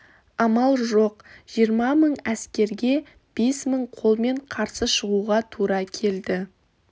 амал жоқ жиырма мың әскерге бес мың қолмен қарсы шығуға тура келді